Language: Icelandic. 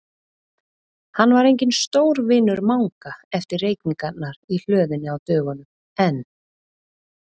Hann var enginn stórvinur Manga eftir reykingarnar í hlöðunni á dögunum, en